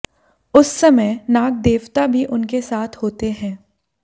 उस समय नागदेवता भी उनके साथ होते हैं